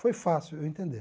Foi fácil eu entender.